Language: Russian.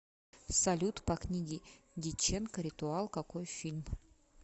салют по книге дяченко ритуал какои фильм